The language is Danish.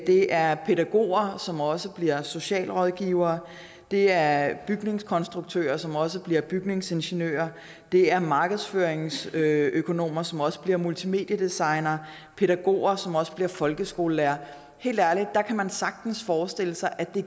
det er pædagoger som også bliver socialrådgivere det er bygningskonstruktører som også bliver bygningsingeniører det er markedsføringsøkonomer som også bliver multimediedesignere pædagoger som også bliver folkeskolelærere helt ærligt der kan man sagtens forestille sig at det